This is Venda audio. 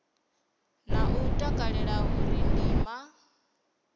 na u takalela uri ndima